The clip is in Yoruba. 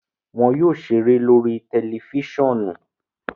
Wọn yóò ṣeré lori tẹlifisiọnu.